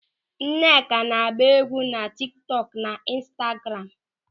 Nneka na-agba égwú na tiktok na instagramu.